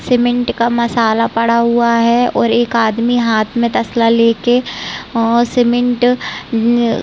Cement का मसाला पड़ा हुआ है। और एक आदमी हाथ में तसला लेके अ सीमेंट न--